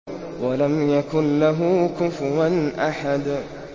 وَلَمْ يَكُن لَّهُ كُفُوًا أَحَدٌ